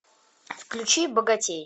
включи богатей